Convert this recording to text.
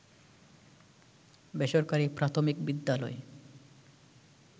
বেসরকারি প্রাথমিক বিদ্যালয়